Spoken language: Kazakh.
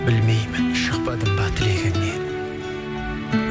білмеймін шықпадым ба тілегіңнен